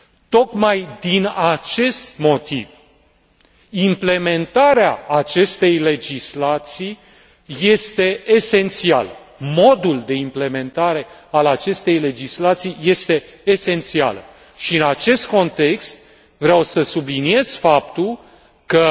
Tocmai din acest motiv, implementarea acestei legislații este esențială, modul de implementare a acestei legislații este esențial și, în acest context, vreau să subliniez faptul că